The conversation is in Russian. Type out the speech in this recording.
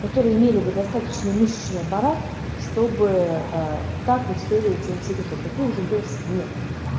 которые имели бы достаточный мышечный аппарат чтобы а так выстреливать своим секретом таких желёз нет